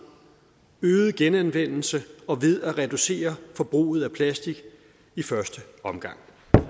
øget genanvendelse og ved at reducere forbruget af plastik i første omgang